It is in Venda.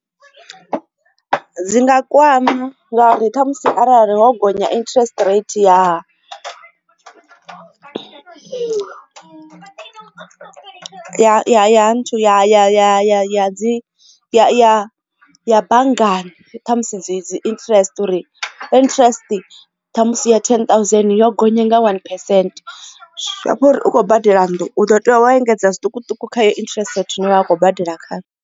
Dzi nga kwama ngauri ṱhamusi arali ho gonya interest rate ya al ya ya ya ya ya dzi ya ya banngani kha musi dzi dzi interest interest kha musi ya ten thousand yo gonya nga one percent zwiamba uri u khou badela nnḓu u ḓo tea u engedza zwiṱukuṱuku kha yo interest rate zwino vha a khou badela khayo.